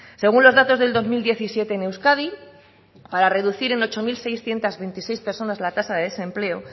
según los datos del dos mil diecisiete en euskadi para reducir en ocho mil seiscientos veintiséis personas la tasa de desempleo